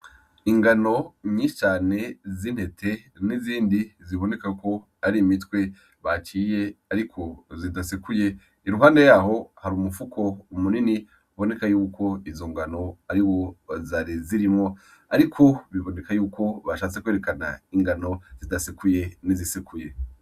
Ingano nyishi cane z'intete n'izindi bibonekako ari imitwe baciye ariko zidasekuye iruhande yaho hari umufuko munini uboneka yuko izo ngano ariwo zari zirimwo ariko biboneka yuko bashatse kwerekana ingano zidasekuye n'izisekuye.